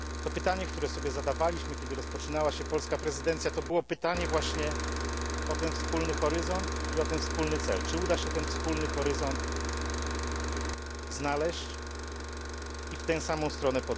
Pytanie, które sobie zadawaliśmy, kiedy rozpoczynała się polska prezydencja, to było właśnie pytanie o ten wspólny horyzont i o ten wspólny cel czy uda się ten wspólny horyzont znaleźć i podążać w tę samą stronę.